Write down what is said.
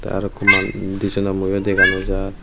aro ikko manu indi seno mu o dega no jaai.